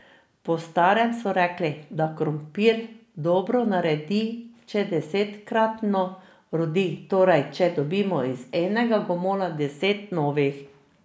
Po starem so rekli, da krompir dobro naredi, če desetkratno rodi, torej če dobimo iz enega gomolja deset novih.